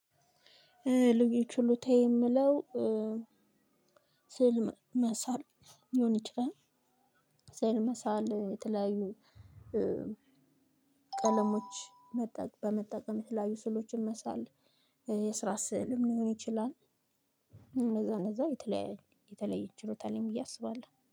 ልዩ ችሎታዬ የምለው። ስዕል መሳል ሊሆን ይችላል። ሰእል መሳል የተለያዩ ቀለሞች በመጠቀም የተለያዩ ስዕሎችን መሳል። የስራ ስእልም ሊሆን ይችላል። እንደዛ እንደዛ የተለያዩ የተለያየ ችሎታ አለኝ ብዬ አስባለሁ